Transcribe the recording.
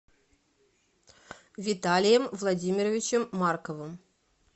виталием владимировичем марковым